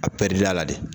A pɛridili y'a la de